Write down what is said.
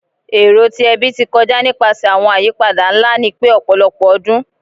Ero ti ẹbi ti kọja nipasẹ awọn ayipada nla ni pẹ ọpọlọpọ ọdun